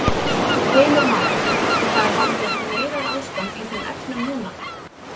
Heimir Már: Og það er hálfgert neyðarástand í þeim efnum núna?